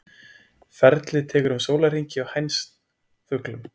Ferlið tekur um sólarhring hjá hænsfuglum.